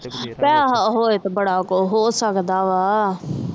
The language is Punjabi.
ਪੈਸੇ ਹੋਵੇ ਤਾ ਬੜਾ ਕੁਜ ਹੋ ਸਕਦਾ ਵਾ